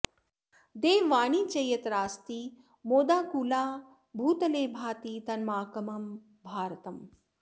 देववाणी च यत्रास्ति मोदाकुला भूतले भाति तन्मामकं भारतम्